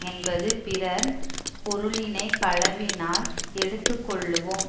என்பது பிறன் பொருளினை களவினால் எடுத்து கொள்ளுவோம்